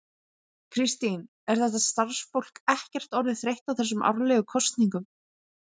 Kristín, er þetta starfsfólk ekkert orðið þreytt á þessum árlegu kosningum?